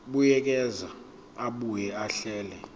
buyekeza abuye ahlele